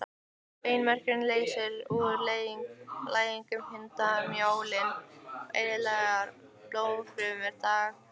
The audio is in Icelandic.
Beinmergurinn leysir úr læðingi hundruð miljóna eðlilegra blóðfruma dag hvern.